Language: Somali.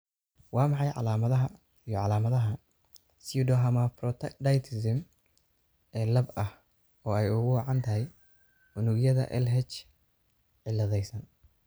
Waa maxay calaamadaha iyo calaamadaha pseudohermaphroditism ee lab ah oo ay ugu wacan tahay unugyada LH cilladaysan?